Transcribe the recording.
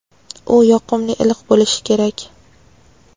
u yoqimli iliq bo‘lishi kerak.